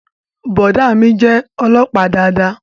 Boda mí jé olópàá dáadáa